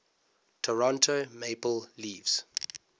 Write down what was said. toronto maple leafs